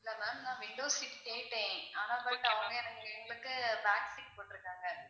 இல்ல ma'am நான் window seat கேட்டேன். ஆனால் but அவங்க எங்களுக்கு back seat போட்டுருக்காங்க.